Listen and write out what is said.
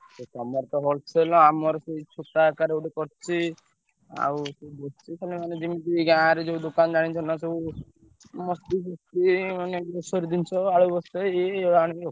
ତମର ତ wholesaler ଆମର ସେଇ ଛୋଟ ଆକାର ଗୋଟେ କରିଛି ଆଉ ବୁଝୁଛ ମାନେ ଜିମିତି ଗାଁରେ ଯୋଉ ଦୋକାନ ଜାଣିଥିବ ନା ସବୁ ମସ୍ତି ହୁଏ ମାନେ grocery ଜିନିଷ ଆଳୁ ବସ୍ତାଏ ଏଇ ଆଣିକି ରଖୁ।